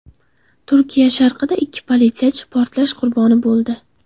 Turkiya sharqida ikki politsiyachi portlash qurboni bo‘ldi.